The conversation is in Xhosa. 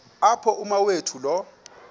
apho umawethu lo